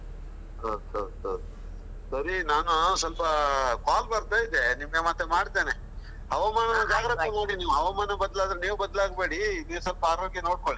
ಹೌದೌದು, ಸರಿ ನಾನು ಸ್ವಲ್ಪ call ಬರ್ತಾ ಇದೆ ನಿಮಗೆ ಮತ್ತೆ ಮಾಡ್ತೇನೆ ಜಾಗ್ರತೆ ಮಾಡಿ ನೀವು, ಹವಾಮಾನ ಬದಲಾದ್ರೆ ನೀವು ಬದಲಾಗಬೇಡಿ ನೀವು ಸ್ವಲ್ಪ ಆರೋಗ್ಯ ನೋಡಿಕೊಳ್ಳಿ.